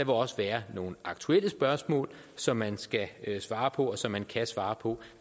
også være nogle aktuelle spørgsmål som man skal svare på og som man kan svare på